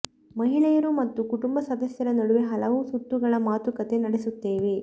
ಮಹಿಳೆಯರು ಮತ್ತು ಕುಟುಂಬ ಸದಸ್ಯರ ನಡುವೆ ಹಲವು ಸುತ್ತುಗಳ ಮಾತುಕತೆ ನಡೆಸುತ್ತೇವೆ